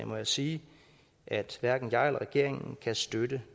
må jeg sige at hverken jeg eller regeringen kan støtte